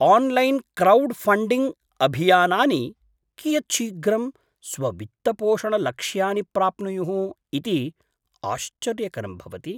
Online crowdfunding अभियानानि कियत् शीघ्रं स्ववित्तपोषणलक्ष्यानि प्राप्नुयुः इति आश्चर्यकरं भवति।